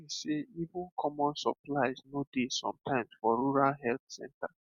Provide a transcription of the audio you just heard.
i mean sey even common supplies no dey sometimes for rural health center